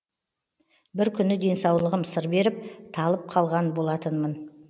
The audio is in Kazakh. бір күні денсаулығым сыр беріп талып қалған болатынмын